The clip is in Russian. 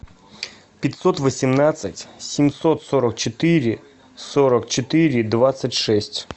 пятьсот восемнадцать семьсот сорок четыре сорок четыре двадцать шесть